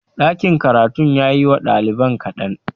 Ɗakin karatun ya yi wa ɗaliban kaɗan